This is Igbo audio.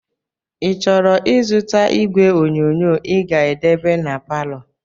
i chọrọ izụta ìgwè onyonyoo i ga-edebe n'paló?